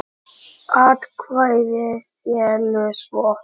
Atkvæði féllu svo